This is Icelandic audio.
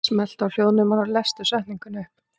Hann stóð á fætur og yfirgaf borðið án þess að segja orð.